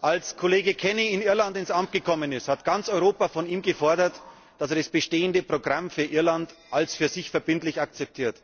Als Kollege Kenny in Irland ins Amt gekommen ist, hat ganz Europa von ihm gefordert, dass er das bestehende Programm für Irland als für sich verbindlich akzeptiert.